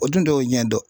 O dun de y'o ɲɛ dɔn